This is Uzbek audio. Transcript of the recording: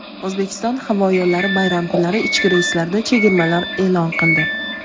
"O‘zbekiston havo yo‘llari" bayram kunlari ichki reyslarda chegirmalar e’lon qildi.